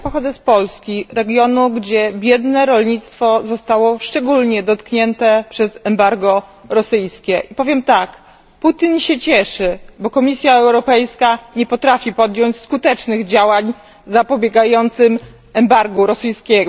Ja pochodzę z Polski, regionu, gdzie biedne rolnictwo zostało szczególnie dotknięte przez embargo rosyjskie, i powiem tak Putin się cieszy, bo Komisja Europejska nie potrafi podjąć skutecznych działań zapobiegających embargu rosyjskiemu.